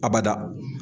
A bada